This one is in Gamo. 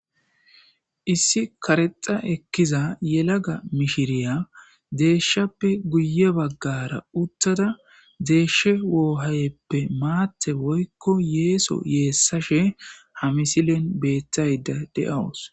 Issi karexxa ekkiza yelaga mishiriyaa deeshshappe guyye baggaara uththada deeshshee woohayeppe maatthe woykko yeeso yeessashe ha misilen beeththaydda de7awus.